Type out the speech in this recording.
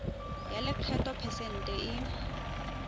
ya lekgetho phesente e